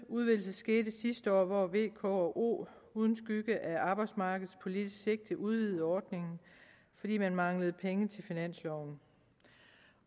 udvidelse skete sidste år hvor v k og o uden skygge af arbejdsmarkedspolitisk sigte udvidede ordningen fordi man manglede penge til finansloven